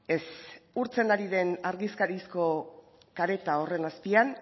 ez urtzen ari den argizarizko kareta horren azpian